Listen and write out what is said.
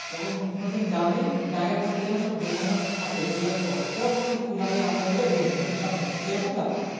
যখন কোনোদিন যাবি Bag এর মধ্যে যেন ডুব document থাকে xerox করা ধরে কোনো কিছু job এ apply করা হয়েছে দেখে নিয়ে হবে ঝোটাম করে এরকম ব্যাপার